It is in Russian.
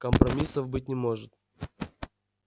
компромиссов быть не может